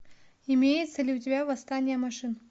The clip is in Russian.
имеется ли у тебя восстание машин